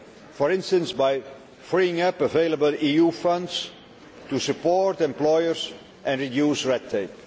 for instance by freeing up available EU funds to support employers and reduce red tape.